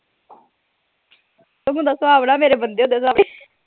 ਸੁਹਾਵਣਾ ਮੇਰੇ ਬੰਦੇ